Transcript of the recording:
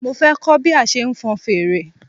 Mo fẹ kọ́ bí a ṣe ń fon fèrè